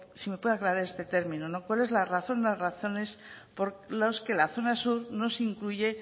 si me puede aclarar este término cuál es la razón o las razones por las que las zona sur no se incluye